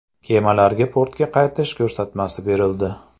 Kemalarga portga qaytish ko‘rsatmasi berildi.